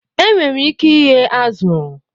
Enwere ike ighe azụ̀